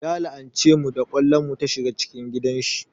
Ya la'ance mu da ƙwallon mu ta shiga cikin gidan shi